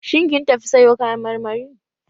Shin kin tafi sayo kayan marmari?